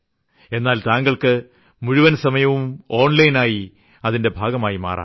എന്നാൽ താങ്ങൾക്ക് മുഴുവൻ സമയവും ഓൺ ലൈൻ ആയി അതിന്റെ ഭാഗമായി മാറാം